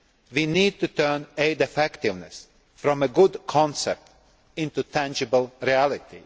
We need to turn aid effectiveness from a good concept into tangible reality.